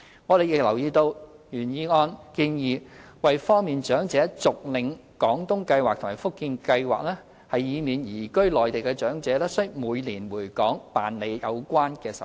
我們亦留意到原議案建議要方便長者續領"廣東計劃"和"福建計劃"，以免移居內地的長者須每年回港辦理有關手續。